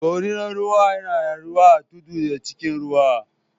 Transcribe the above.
Dorinan ruwa na rayuwa a tudu da cikin ruwa.